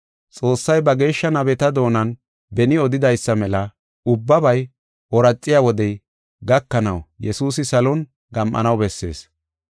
Xoossay ba geeshsha nabeta doonan beni odidaysa mela ubbabay ooraxiya wodey gakanaw Yesuusi salon gam7anaw bessees.